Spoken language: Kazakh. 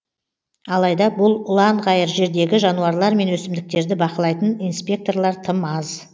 алайда бұл ұланғайыр жердегі жануарлар мен өсімдіктерді бақылайтын инспекторлар тым аз